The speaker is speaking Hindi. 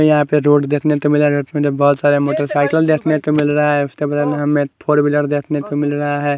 यहा पे रोड देखने को मिलरा बोत सारे मोटरसाइकल देखने को मिलरा है उसके बगल में हमे फॉरविलर देखने को मिलरा है।